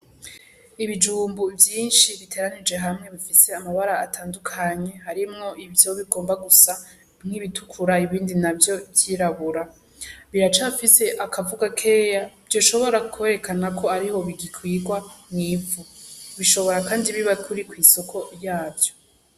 Ibijumbu vyinshi biteranirijwe hamwe bifise amabara atandukanye, harimwo ivyo bigomba gusa nk'ibitukura ibindi navyo ry'irabura biracafise akavu gakeya vyoshobora kwerekana ko ariho bigikugwa mw'ivu bishobora kandi kuba biri kwisoko yavyo.